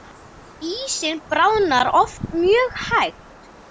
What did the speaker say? Ísinn bráðnar oft mjög hægt.